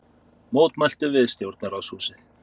Mótmæltu við stjórnarráðshúsið